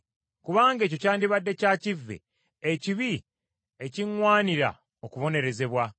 Kubanga ekyo kyandibadde kya kivve, ekibi ekiŋŋwanira okubonerezebwa.